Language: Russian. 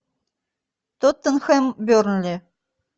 тоттенхэм бернли